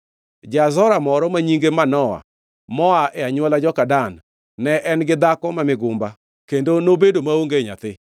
Ja-Zora moro, ma nyinge Manoa, moa e anywola joka Dan, ne en gi dhako ma migumba kendo nobedo maonge nyathi.